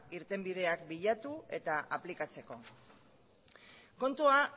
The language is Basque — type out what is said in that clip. irtenbideak bilatu eta aplikatzeko kontua